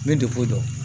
N bɛ depo dɔn